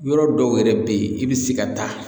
Yɔrɔ dɔw yɛrɛ bɛ yen i bɛ se ka taa